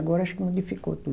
Agora acho que modificou tudo.